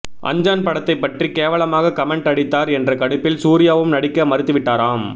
அஞ்சான் படத்தைப் பற்றி கேவலமாக கமெண்ட் அடித்தார் என்ற கடுப்பில் சூர்யாவும் நடிக்க மறுத்துவிட்டாராம்